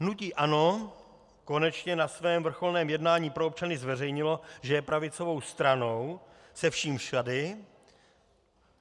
Hnutí ANO konečně na svém vrcholném jednání pro občany zveřejnilo, že je pravicovou stranou se vším všudy.